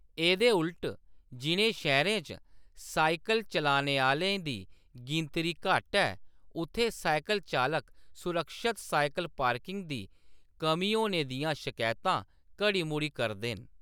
एह्‌‌‌दे उलट, जि'नें शैह्‌‌‌रें च साइकल चलाने आह्‌‌‌लें दी गिनतरी घट्ट ऐ, उत्थें साइकल चालक सुरक्खत साइकल पार्किंग दी कमी होने दियां शकैतां घड़ी-मुड़ी करदे न।